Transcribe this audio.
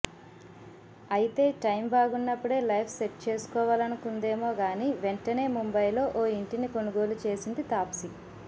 అయితే టైం బాగున్నప్పుడే life set చేసుకోవాలనుకుందేమో గానీ వెంటనే ముంబయిలో ఓ ఇంటిని కొనుగోలు చేసింది తాప్సి